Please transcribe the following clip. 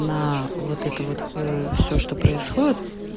на вот это вот в все что происходит